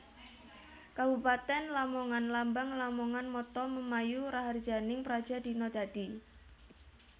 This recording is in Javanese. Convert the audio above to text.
Kabupatèn LamonganLambang LamonganMotto Memayu Raharjaning Praja Dina Dadi